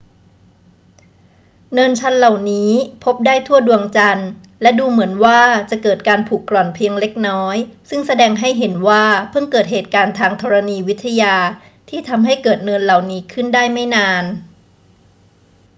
เนินชันเหล่านี้พบได้ทั่วดวงจันทร์ และดูเหมือนว่าจะเกิดการผุกร่อนเพียงเล็กน้อย ซึ่งแสดงให้เห็นว่าเพิ่งเกิดเหตุการณ์ทางธรณีวิทยาที่ทำให้เกิดเนินเหล่านี้ขึ้นได้ไม่นาน